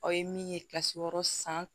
Aw ye min ye kasi wɔɔrɔ san